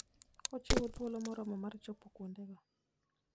Ochiwo thuolo moromo mar chopo kuondego.